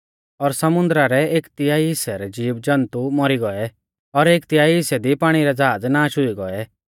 और समुन्दरा रै एक तिहाई हिस्सै रै ज़ीवज़न्तु मौरी गौऐ और एक तिहाई हिस्सै दी पाणी रै ज़हाज़ नाश हुई गौऐ